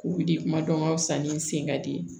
K'u wuli kuma dɔn ka fisa ni n sen ka di ye